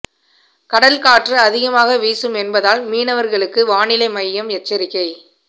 கடல் காற்று அதிகமாக வீசும் என்பதால் மீனவர்களுக்கு வானிலை மையம் எச்சரிக்கை